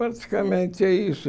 Praticamente é isso.